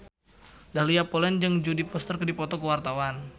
Dahlia Poland jeung Jodie Foster keur dipoto ku wartawan